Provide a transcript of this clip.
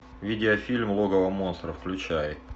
видеофильм логово монстра включай